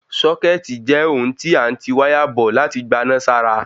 Sọ́kẹ̀tì jẹ́ ohun tí a n ti wáyà bọ̀ láti gbaná sára